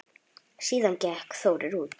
Síðan gekk Þórir út.